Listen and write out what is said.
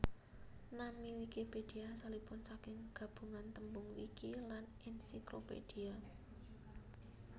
Nami Wikipédia asalipun saking gabungan tembung wiki lan encyclopedia